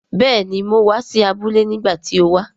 Béèni, mo wa si abúlé nígbàtí ti o wa